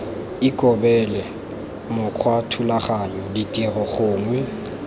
ikobele mokgwa thulaganyo tiro gongwe